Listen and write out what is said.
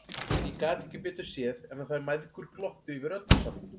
En ég gat ekki betur séð en að þær mæðgur glottu yfir öllu saman!